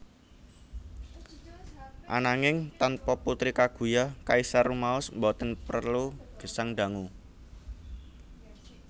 Ananging tanpa Putri Kaguya kaisar rumaos boten prelu gesang dangu